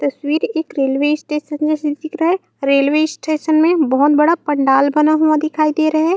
तस्वीर एक railway station में से दिख रहा है रेलवे स्टेशन में बहोत बड़ा पंडाल बना हुआ दिखाई दे रहा है।